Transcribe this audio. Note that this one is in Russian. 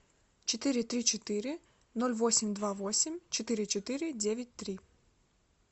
четыре три четыре ноль восемь два восемь четыре четыре девять три